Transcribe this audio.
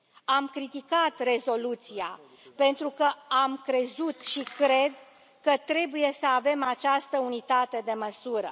Am criticat rezoluția, pentru că am crezut și cred că trebuie să avem această unitate de măsură.